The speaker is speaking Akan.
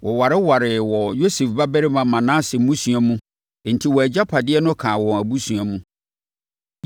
Wɔwarewaree wɔ Yosef babarima Manase mmusua mu enti wɔn agyapadeɛ no kaa wɔn abusuakuo mu.